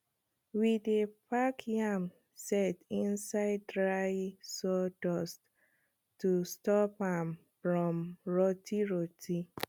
we dey pack yam sett inside dry sawdust to stop am from rotty rotty